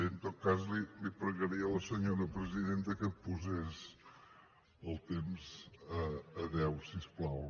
bé en tot cas li pregaria a la senyora presidenta que posés el temps a deu si us plau